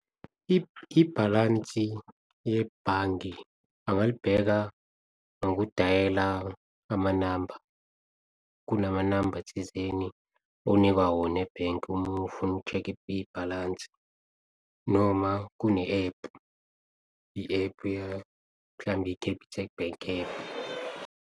Ibhalansi yebhange angalibheka ngokudayela amanamba. Kunamanamba thizeni onikwa wona ebhenki uma ufuna uku-check-a ibhalansi. Noma kune ephu, i-ephu mhlawumbe i-Capitec Bank ephu.